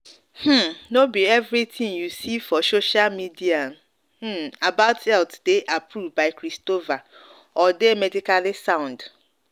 um no no be everything you see for social media hmm about health dey approved by christopher or dey medically sound.